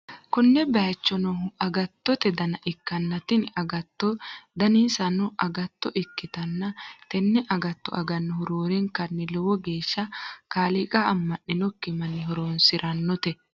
konne bayicho noohu agattote dabna ikkanna, tini agattono dinissanno agatto ikkitanna, tenne agatto agannohu roorenkanni lowo geeshsha kaaliiqa amma'ninokki manni horonsi'rannote.